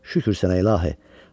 Şükür sənə İlahı.